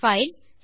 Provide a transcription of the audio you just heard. file